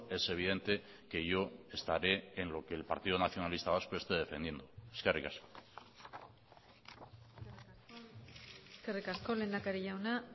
es evidente que yo estaré en lo que el partido nacionalista vasco esté defendiendo eskerrik asko eskerrik asko lehendakari jauna